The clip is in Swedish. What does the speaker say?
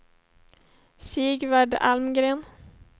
Sigvard Almgren